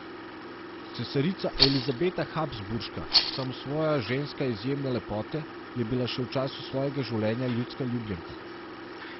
Cesarica Elizabeta Habsburška, samosvoja ženska izjemne lepote, je bila še v času svojega življenja ljudska ljubljenka.